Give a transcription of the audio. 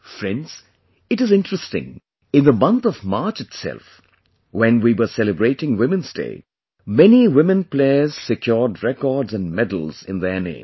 Friends, it is interesting... in the month of March itself, when we were celebrating women's day, many women players secured records and medals in their name